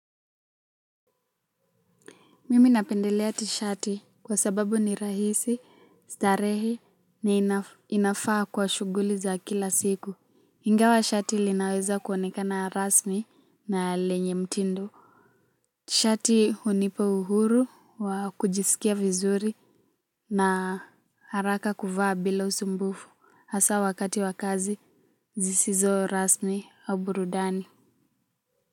Mimi napendelea tishati kwa sababu ni rahisi, starehe, na inafaa kwa shuguli za kila siku. Ingawa shati linaweza kuonekana rasmi na lenye mtindo. Tishati hunipa uhuru wa kujisikia vizuri na haraka kuvaa bila usumbufu. Hasa wakati wa kazi, zisizo rasmi au burudani.